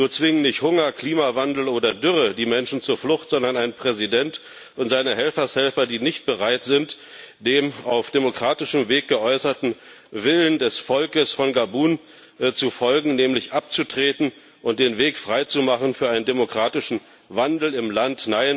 Nur zwingen nicht Hunger, Klimawandel oder Dürre die Menschen zur Flucht, sondern ein Präsident und seine Helfershelfer, die nicht bereit sind, dem auf demokratischem Weg geäußerten Willen des Volkes von Gabun zu folgen, nämlich abzutreten und den Weg freizumachen für einen demokratischen Wandel im Land.